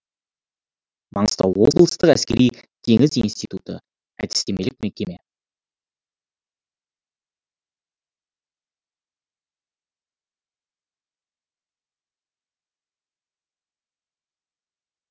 маңғыстау облыстық әскери теңіз институты әдістемелік мекеме